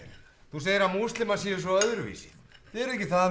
þú segir að múslimar séu svo öðruvísi þið eruð ekki það